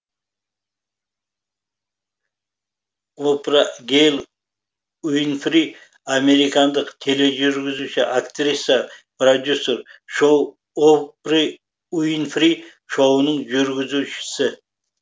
о пра гэйл уи нфри американдық тележүргізуші актриса продюсер шоу опры уинфри шоуының жүргізушісі